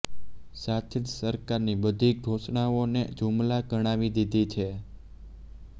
સાથે જ સરકારની બધી ઘોષણાઓને જુમલા ગણાવી દીધી છે